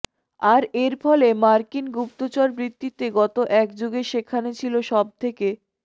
আর এরফলে মার্কিন গুপ্তচরবৃ্ত্তিতে গত এক যুগে সেখানে ছিল সব থেকে